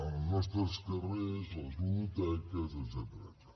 els nostres carrers les ludoteques etcètera